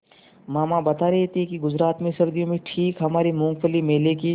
मामा बता रहे थे कि गुजरात में सर्दियों में ठीक हमारे मूँगफली मेले की